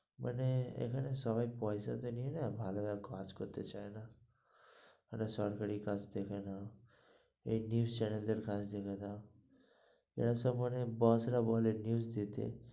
মানে এখানে সবাই পয়সা টা নিয়ে নেই, ভালোভাবে কাজ করতে চাই না, মানে সরকারি কাজ দেখে না, এই news channel দের কাজ দেখে না, বস রা বলে news দিতে।